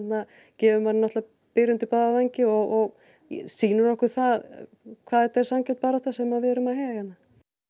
gefur manni byr undir báða vængi og sýnir okkur það hvað þetta er sanngjörn barátta sem við erum að heyja hérna